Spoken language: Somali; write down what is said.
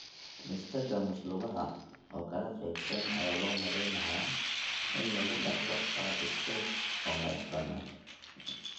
Nystagmus lugaha oo kala qaybsan ayaa loo malaynayaa in lagu dhaxlo qaab iskeed u madaxbannaan.